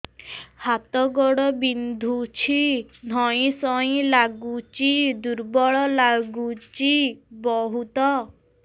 ହାତ ଗୋଡ ବିନ୍ଧୁଛି ଧଇଁସଇଁ ଲାଗୁଚି ଦୁର୍ବଳ ଲାଗୁଚି ବହୁତ